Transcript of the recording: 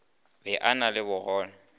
be a na le bogole